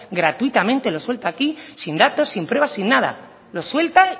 gratuitamente lo suelta aquí sin datos sin pruebas sin nada lo suelta